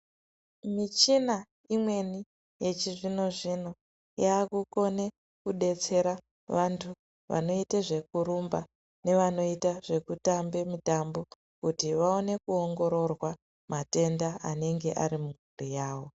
Michina imweni yechizvino zvino yaakukona kudetsera vanthu vanoite zvekurumba nevanoita zvekutamba mitambo kuti vaone kuongororwa matenda anenge ari mumwiri yao.